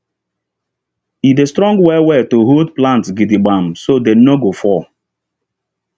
e dey strong well well to hold plant gidigbam so dem no go fall